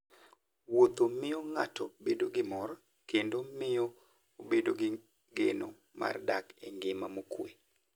Wuotho miyo ng'ato bedo gi mor kendo miyo obedo gi geno mar dak e ngima mokuwe.